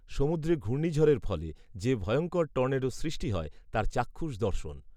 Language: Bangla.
সমুদ্রে ঘূর্ণীঝড়ের ফলে, যে ভয়ঙ্কর টর্নেডোর সৃষ্টি হয়, তার চাক্ষুষ দর্শন